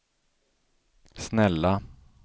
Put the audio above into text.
snälla